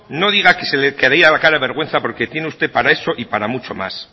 no diga que se le caería la cara de vergüenza porque tiene usted para eso y para mucho más